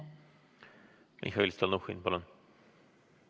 Mihhail Stalnuhhin, palun!